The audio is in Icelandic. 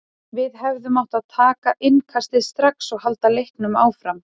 Við hefðum átt að taka innkastið strax og halda leiknum áfram.